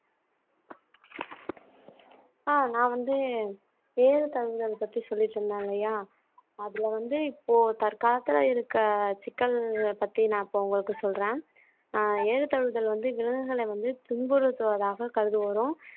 ஆஹ் நான் வந்து ஏறு தழுவுதல் பத்தி சொல்லிட்டு இருந்தல்லயா அதுல வந்து இப்போ தற்காலத்துல இருக்க சிக்கல் பத்தி நான் இப்ப உங்களுக்கு சொல்றேன் ஆஹ் எழுத தழுவுதல் வந்து விலங்குகளை வந்து துன்புறுத்துவதாக கருதுவதும்